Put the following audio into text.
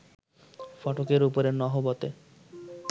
ফটকের উপরে নহবতে